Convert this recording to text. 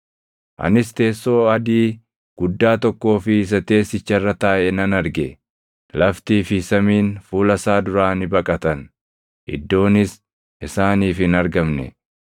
Anis teessoo adii guddaa tokkoo fi isa teessicha irra taaʼe nan arge. Laftii fi samiin fuula isaa duraa ni baqatan; iddoonis isaaniif hin argamne.